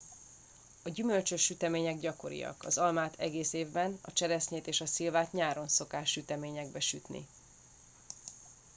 a gyümölcsös sütemények gyakoriak az almát egész évben a cseresznyét és a szilvát nyáron szokás süteményekbe sütni